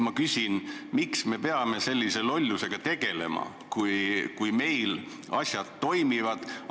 Ma küsin: miks me peame sellise lollusega tegelema, kui meil asjad niigi toimivad?